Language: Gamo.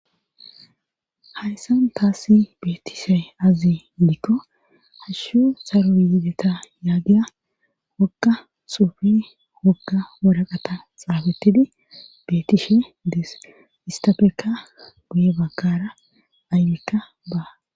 hayssan taassi beetishe aze dikko hashshu saro yiideta yaagiya woga xuufe woga woraqata xaafettidi beetishe dees istafekka guye bagkara aybikka ba